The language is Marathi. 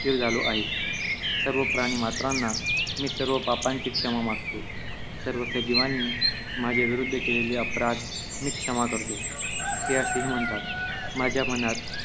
स्थिर झालो आहे. सर्व प्राणिमात्रांना, मी सर्व पापांची क्षमा मागतो. सर्व सजीवांनी माझ्याविरुद्ध केलेले अपराध मी क्षमा करतो. ' ते असेही म्हणतात, 'माझ्या मनात